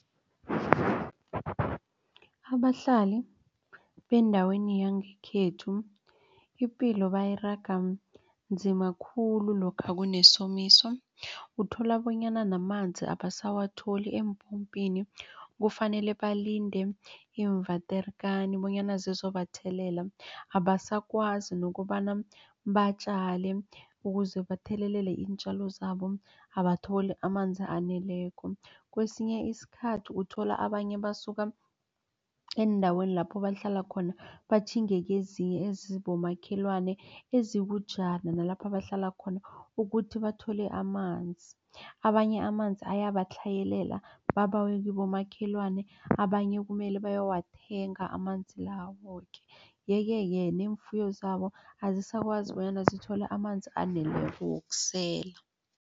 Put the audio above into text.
Abahlali bendaweni yangekhethu ipilo bayiraga nzima khulu lokha kunesomiso. Uthola bonyana namanzi abasawatholi eempompini. Kufanele balinde iimvaterekani bonyana zizobathelela abasakwazi nokobana batjale. Ukuze bathelelele iintjalo zabo abatholi amanzi aneleko. Kwesinye isikhathi uthola abanye basuka eendaweni lapho bahlala khona batjhinge kezinye ezibomakhelwane ezikujana nalapha bahlala khona ukuthi bathole amanzi. Abanye amanzi ayabatlhayelela babawe kibomakhelwane. Abanye kumele bawathenge amanzi la woke yeke-ke neemfuyo zabo azisakwazi bonyana zithole amanzi aneleko wokusela.